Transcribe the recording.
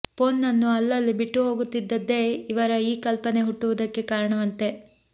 ಫೋನನ್ನು ಅಲ್ಲಲ್ಲಿ ಬಿಟ್ಟು ಹೋಗುತ್ತಿದ್ದದ್ದೇ ಇವರ ಈ ಕಲ್ಪನೆ ಹುಟ್ಟುವುದಕ್ಕೆ ಕಾರಣವಂತೆ